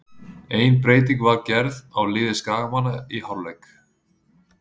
Ein breyting var gerð á liði skagamanna í hálfleik.